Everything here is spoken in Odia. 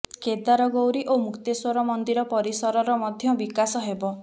କେଦାର ଗୌରୀ ଓ ମୁକ୍ତେଶ୍ବର ମନ୍ଦିର ପରିସରର ମଧ୍ୟ ବିକାଶ ହେବ